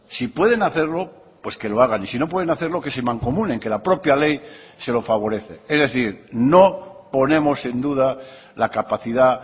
si pueden hacerlo pues que lo hagan y si no pueden hacerlo que se mancomunen que la propia ley se lo favorece es decir no ponemos en duda la capacidad